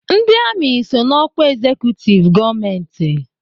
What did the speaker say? Ndị amị so na ọkwa ezekutiv gọọmentị.